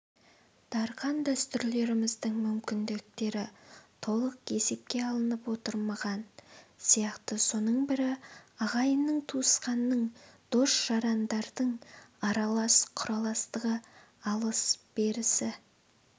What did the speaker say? дарқан дәстүрлеріміздің мүмкіндіктері толық есепке алынып отырмаған сияқты соның бірі ағайынның туысқанның дос-жарандардың аралас-құраластығы алыс-берісі